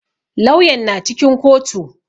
Lauyan na cikin kotu.